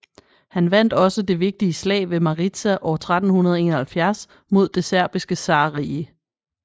Han vandt også det vigtige slag ved Maritsa år 1371 mod Det Serbiske zarrige